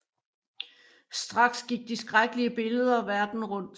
Straks gik de skrækkelige billeder verden rundt